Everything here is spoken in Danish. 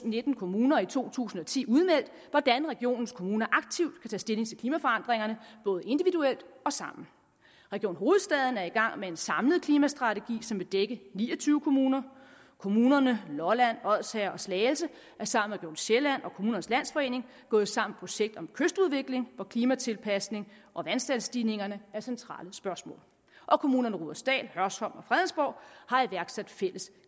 nitten kommuner i to tusind og ti udmeldt hvordan regionens kommuner aktivt kan tage stilling til klimaforandringerne både individuelt og sammen region hovedstaden er i gang med en samlet klimastrategi som vil dække ni og tyve kommuner kommunerne lolland odsherred og slagelse er sammen sjælland og kommunernes landsforening gået sammen projekt om kystudvikling hvor klimatilpasningen og vandstandsstigningerne er centrale spørgsmål og kommunerne rudersdal hørsholm og fredensborg har iværksat fælles